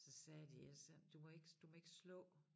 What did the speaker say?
Så sagde de eller sådan du må ikke du må ikke slå